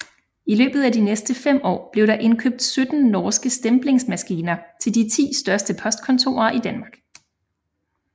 I løbet af de næste fem år blev der indkøbt 17 norske stemplingsmaskiner til de ti største postkontorer i Danmark